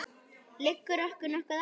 Liggur okkur nokkuð á?